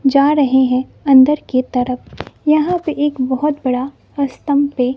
जा रहे हैं। अंदर के तरफ यहां पे एक बहोत बड़ा पे--